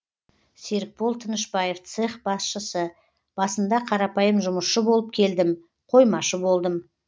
серікбол тынышбаев цех басшысы басында қарапайым жұмысшы болып келдім қоймашы болдым